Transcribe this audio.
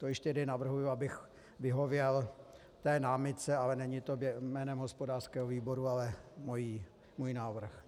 To ještě tedy navrhuji, abych vyhověl té námitce, ale není to jménem hospodářského výboru, ale můj návrh.